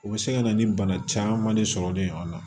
U bɛ se ka na ni bana caman de sɔrɔlen ye a la